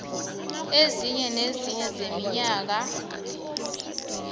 esinye nesinye seminyaka